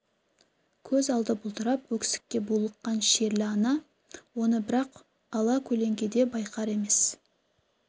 көз алды бұлдырап өксікке булыққан шерлі ана оны бірақ ала көлеңкеде байқар емес